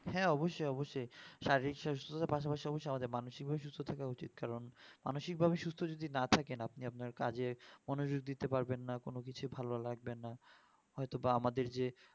হ্যাঁ অবশ্যই অবশ্যই শারীরিক সুস্ততার পাশাপাশির মানসিক ভাবেও সুস্থ থাকা উচিত কারণ মানসিক ভাবে সুস্থ যদি না থাকি আপনি আপনার কাজে মনোযোগ দিতে পারবেন না কোনো কিছু ভালো লাগবেনা অথবা আমাদের যে